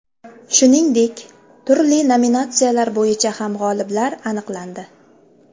Shuningdek, turli nominatsiyalar bo‘yicha ham g‘oliblar aniqlandi.